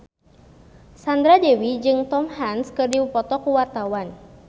Sandra Dewi jeung Tom Hanks keur dipoto ku wartawan